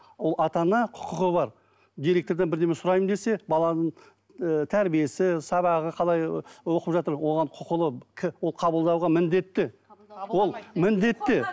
ол ата ана құқығы бар директордан бірдеме сұраймын десе баланың ііі тәрбиесі сабағы қалай оқып жатыр оған құқылы ол қабылдауға міндетті ол міндетті